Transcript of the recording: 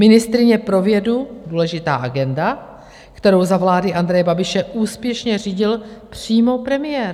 Ministryně pro vědu, důležitá agenda, kterou za vlády Andreje Babiše úspěšně řídil přímo premiér.